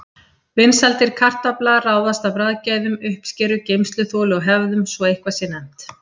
Vinsældir kartafla ráðast af bragðgæðum, uppskeru, geymsluþoli og hefðum, svo að eitthvað sé nefnt.